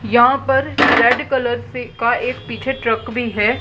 यहां पर red colour से का एक पीछे एक ट्रक भी है।